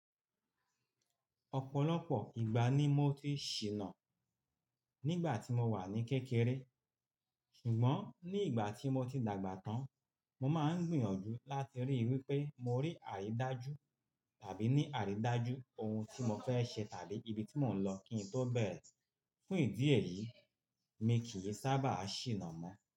Ọ̀pọ̀lọpọ̀ ìgbà ni mo ti ṣìnà nígbà tí mo wà ní kékeré, ṣùgbọ́n ní ìgbà tí mo ti dàgbà tán, mo máa ń gbìyànjú láti ríi wípé mo rí àrídájú tàbí ní àrídájú ohun tí mo fẹ́ ṣe tàbí ibi tí mò ń lọ kí n tó bẹ̀rẹ̀. Fún ìdí èyí, mi kì í sábà ṣìnà mọ́